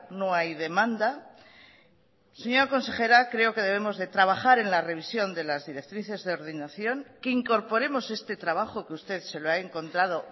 no hay demanda señora consejera creo que debemos de trabajar en la revisión de las directrices de ordenación que incorporemos este trabajo que usted se lo ha encontrado